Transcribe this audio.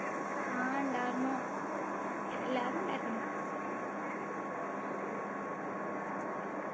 ആഹ് ഉണ്ടായിരുന്നു എല്ലാരും ഉണ്ടായിരുന്നു